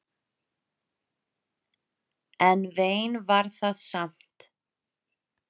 En vein var það samt.